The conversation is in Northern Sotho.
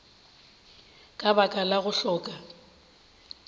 ka baka la go hloka